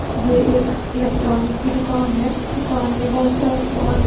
ये एक इलेक्ट्रॉनिक की दुकान है दुकान में बहोत सारा सामान--